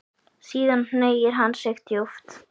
Síðan hneigir hann sig djúpt.